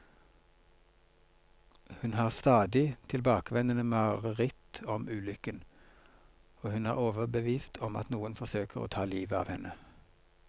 Hun har stadig tilbakevendende mareritt om ulykken, og hun er overbevist om at noen forsøker å ta livet av henne.